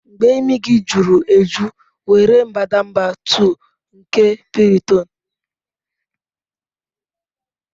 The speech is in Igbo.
Mgbe imi gị juru eju, were mbadamba 2 nke Piriton.